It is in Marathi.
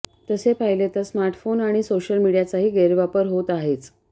तसे पाहिले तर स्मार्टङ्गोन आणि सोशल मीडियाचाही गैरवापर होत आहेच